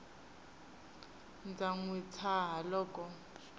ndza n wi tshaha loko